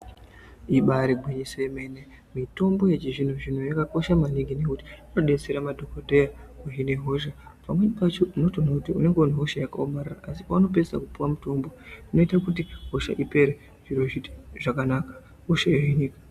Ibari gwinyiso remene mitombo yechizvino zvino yakakosha maningi ngekuti inodetsera madhokodheya nehosha pamweni pacho unenge une hosha yakaomarara asi paunooedaa kupuwa mutombo inoita kuti hosha ipere zviro zvoita zvakanaka hosha yohinika.